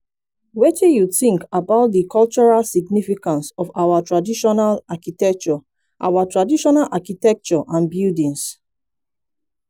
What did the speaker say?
wetin you think about di cultural significance of our traditional architecture our traditional architecture and buildings?